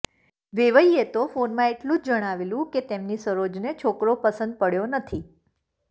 વેવાઈએ તો ફોનમાં એટલું જ જણાવેલું કે તેમની સરોજને છોકરો પસંદ પડયો નથી